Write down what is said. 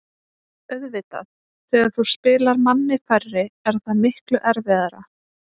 Auðvitað, þegar þú spilar manni færri er það miklu erfiðara.